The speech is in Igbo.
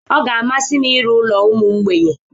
Ọ ga-amasị m ịrụ ụlọ ụmụ mgbei.